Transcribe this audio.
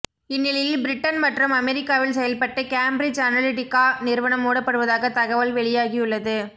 இந்நிலையில் பிரிட்டன் மற்றும் அமெரிக்காவில் செயல்பட்டு கேம்பிரிட்ஜ் அனலிடிகா நிறுவனம் மூடப்படுவதாக தகவல் வெளியாகியுள்ளது